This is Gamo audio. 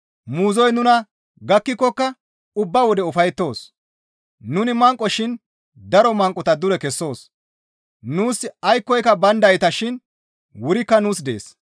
Muuzoy nuna gakkikokka ubba wode ufayettoos; nuni manqoko shin daro manqota dure kessoos; nuus aykkoyka bayndayta shin wurikka nuus dees.